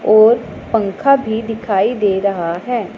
और पंखा भी दिखाई दे रहा है।